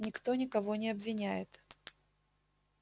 никто никого не обвиняет